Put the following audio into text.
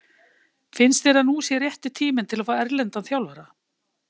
Finnst þér að nú sé rétti tíminn til að fá erlendan þjálfara?